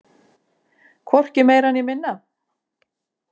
Hvorki meira né minna!